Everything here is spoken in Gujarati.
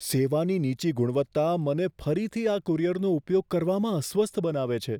સેવાની નીચી ગુણવત્તા મને ફરીથી આ કુરિયરનો ઉપયોગ કરવામાં અસ્વસ્થ બનાવે છે.